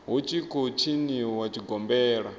hu tshi khou tshiniwa tshigombela